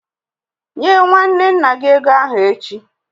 Nye nwanne nna gị ego ahụ echi!